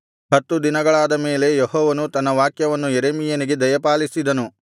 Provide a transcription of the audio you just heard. ಹತ್ತು ದಿನಗಳಾದ ಮೇಲೆ ಯೆಹೋವನು ತನ್ನ ವಾಕ್ಯವನ್ನು ಯೆರೆಮೀಯನಿಗೆ ದಯಪಾಲಿಸಿದನು